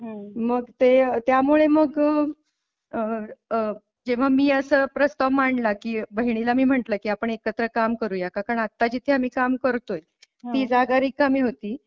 मग ते त्यामुळे मग आह जेव्हा मी असा प्रस्ताव मांडला की बहिणीला मी म्हटलं कि आपण एकत्र काम करूया का कारण आत्ता जिथे आम्ही काम करतोय ती जागा रिकामी होती,